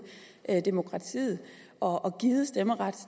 demokratiet og givet stemmeret